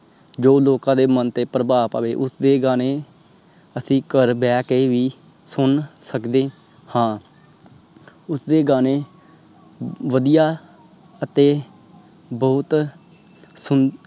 ਜੋ ਲੋਕਾਂ ਦੇ ਮਨ ਤੇ ਪ੍ਰਭਾਵ ਪਾਵੇ ਉਸਦੇ ਗਾਣੇ ਅਸੀਂ ਘਰ ਬੇਕੇ ਭੀ ਸੁਨ ਸਕਦੇ ਹਾਂ ਉਸਦੇ ਗਾਣੇ ਵਦੀਆ ਅਤੇ ਬਹੁਤ ਸੁਨ